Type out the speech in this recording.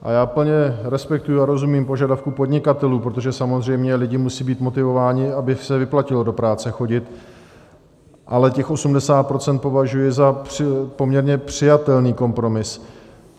A já plně respektuji a rozumím požadavku podnikatelů, protože samozřejmě lidi musí být motivováni, aby se vyplatilo do práce chodit, ale těch 80 % považuji za poměrně přijatelný kompromis.